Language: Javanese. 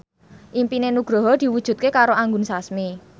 impine Nugroho diwujudke karo Anggun Sasmi